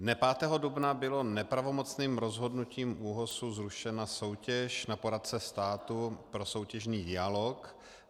Dne 5. dubna byla nepravomocným rozhodnutím ÚOHS zrušena soutěž na poradce státu pro soutěžní dialog.